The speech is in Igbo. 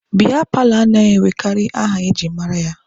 Biya paalọ anaghị enwekarị aha e ji mara ya.